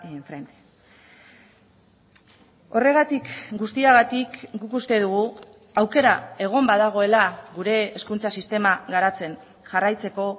enfrente horregatik guztiagatik guk uste dugu aukera egon badagoela gure hezkuntza sistema garatzen jarraitzeko